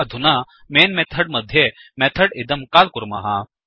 अधुना main method मध्ये method इदं काल् कुर्मः